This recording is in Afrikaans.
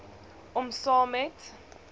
om saam met